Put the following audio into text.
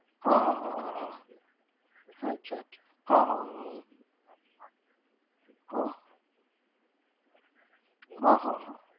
હા હા હા હા હા અચ્છા અચ્છા હા હા. હા, હા હા હા